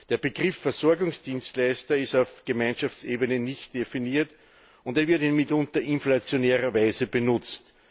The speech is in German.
Der Begriff Versorgungsdienstleister ist auf Gemeinschaftsebene nicht definiert, er wird in mitunter inflationärer Weise benutzt.